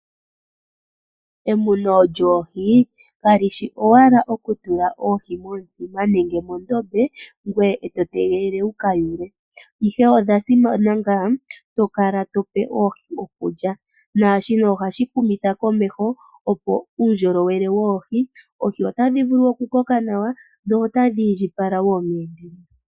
Emuno lyoohi kalishi owala okutula oohi momithima nenge moondama noshowoo moondombe, ashike oohi ohadhi pumbwa esiloshimpwiyu lyakwata miiti mokudhipa iikulya, omiti nomeya gayela. Shika ohashi kwathele meindjipalo lyoohi.